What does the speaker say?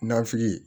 Nafili ye